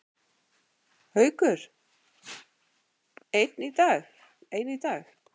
Haukur: En í dag?